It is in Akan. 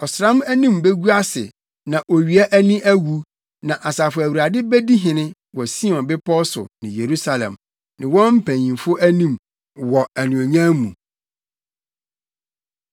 Ɔsram anim begu ase na owia ani awu; na Asafo Awurade bedi hene wɔ Sion bepɔw so ne Yerusalem, ne wɔn mpanyimfo anim, wɔ anuonyam mu.